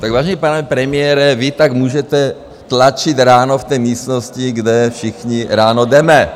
Tak, vážený pane premiére, vy tak můžete tlačit ráno v té místnosti, kde všichni ráno jdeme.